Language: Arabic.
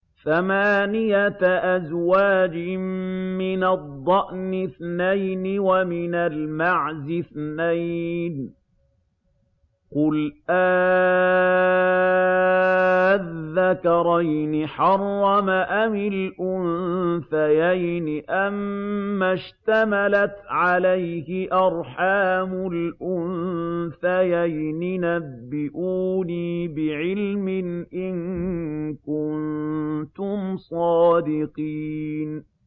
ثَمَانِيَةَ أَزْوَاجٍ ۖ مِّنَ الضَّأْنِ اثْنَيْنِ وَمِنَ الْمَعْزِ اثْنَيْنِ ۗ قُلْ آلذَّكَرَيْنِ حَرَّمَ أَمِ الْأُنثَيَيْنِ أَمَّا اشْتَمَلَتْ عَلَيْهِ أَرْحَامُ الْأُنثَيَيْنِ ۖ نَبِّئُونِي بِعِلْمٍ إِن كُنتُمْ صَادِقِينَ